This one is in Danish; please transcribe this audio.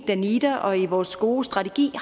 danida og i vores gode strategi